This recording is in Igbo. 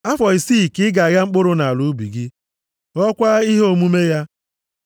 “Afọ isi ka ị ga-agha mkpụrụ nʼala ubi gị, ghọọkwa ihe omume ya.